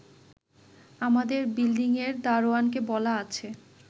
আমাদের বিল্ডিংয়ের দারোয়ানকে বলা আছে